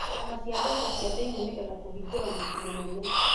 ciama cia mbeca cia thĩinie nĩ getha kũhingũra mũciĩ mũnene